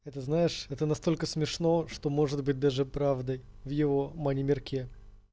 это знаешь это настолько смешно что может быть даже правдой в его мани мирке